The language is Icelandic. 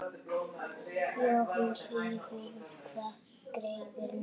Jóhann Hlíðar: Hvað gerirðu núna?